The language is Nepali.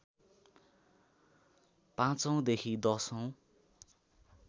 पाँचौंदेखि दशौं